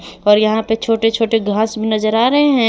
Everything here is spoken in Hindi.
और यहां पे छोटे छोटे घास भी नजर आ रहे हैं।